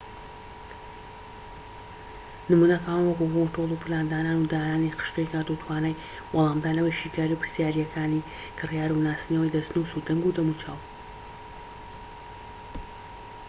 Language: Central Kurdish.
نمونەکان وەکو کۆنترۆل و پلاندانان و دانانی خشتەی کات و توانای وەلامدانەوەی شیکاری و پرسیاریەکانی کریار و ناسینەوەی دەستنوس و دەنگ و دەموچاو